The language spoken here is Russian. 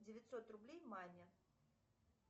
девятьсот рублей маме